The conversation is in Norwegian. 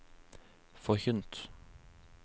forkynt